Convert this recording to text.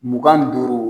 Mugan ni duuru